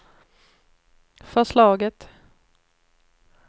förslaget